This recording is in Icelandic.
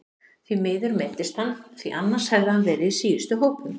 Því miður meiddist hann því annars hefði hann verið í síðustu hópum.